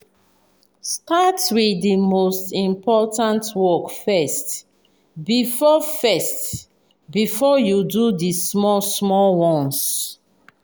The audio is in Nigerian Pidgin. start with the most important work first before first before you do the small-small ones.